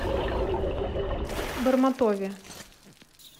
бормотове